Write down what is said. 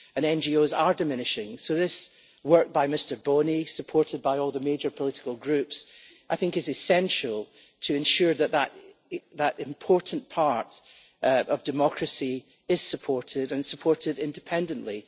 NGOs are diminishing, so this work by Mr Boni, supported by all the major political groups, is essential to ensure that that important part of democracy is supported, and supported independently.